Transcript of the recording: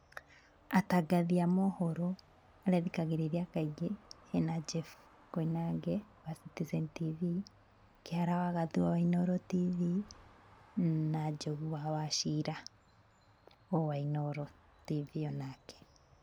Atangathi a mohoro arĩa thikagĩrĩria kaingĩ, he na Jeff Koinange wa Citizen TV, Kĩhara wa Gathua wa Inooro TV na Njogu wa Wachira, o wa Inooro TV o nake.